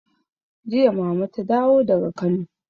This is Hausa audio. Jiya mama ta dawo daga Kano.